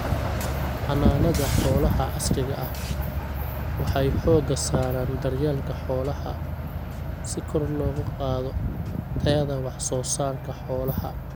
Xanaanada xoolaha casriga ah waxay xooga saaraan daryeelka xoolaha si kor loogu qaado tayada wax soo saarka xoolaha.